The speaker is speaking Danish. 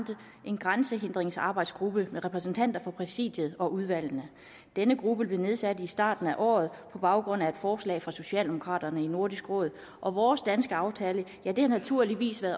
en grænsehindringsarbejdsgruppe med repræsentanter for præsidiet og udvalgene denne gruppe blev nedsat i starten af året på baggrund af et forslag fra socialdemokraterne i nordisk råd og vores danske aftale har naturligvis